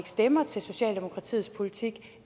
stemmer til socialdemokratiets politik